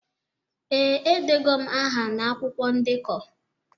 Ee, edego m aha na akwụkwọ ndekọ